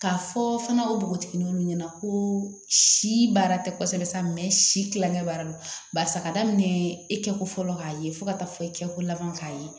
K'a fɔ fana o bogotiginiw ɲɛna ko si baara tɛ kosɛbɛ si kilancɛ b'a la barisa ka daminɛ e kɛ ko fɔlɔ k'a ye fo ka taa fɔ i kɛko laban k'a ye